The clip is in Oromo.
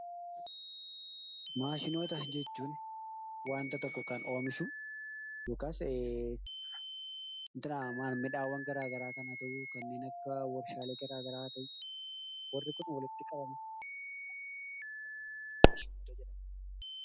Maashinoota jechuun wanta tokko kan oomishuu yookaas midhaaan gara garaa kanatu, kannen akka warshaalee gara garaa warri kun walitti qabamani maashinoota jedhamuu.